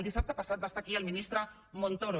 dissabte passat va estar aquí el ministre montoro